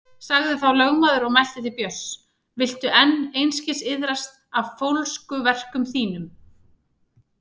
Sagði þá lögmaður og mælti til Björns: Viltu enn einskis iðrast af fólskuverkum þínum?